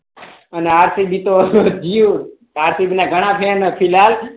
અને આરસીબી તો ગયું આરસીબી ના ઘણા ફેન છે ફિલહાલ